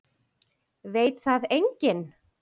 Veit það enginn?